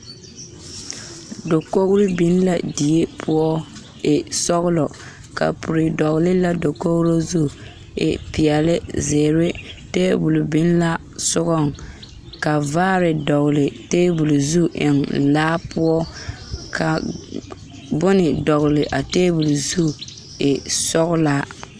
Dakogiro biŋ la die poɔ e sɔgelɔ kapuri dɔgele la dakogri zu e peɛle zeere tabol biŋ la sogaŋ ka vaare dɔgele taabol zu eŋ laa poɔ ka bone dɔgele a taabol zu e sɔglaa